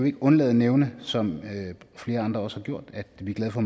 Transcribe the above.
ikke undlade at nævne som flere andre også har gjort at vi er glade for